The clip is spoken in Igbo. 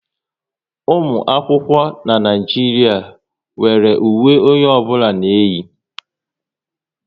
Ụmụ akwụkwọ n'Naijiria nwéré uwe onye ọbụla na-eyi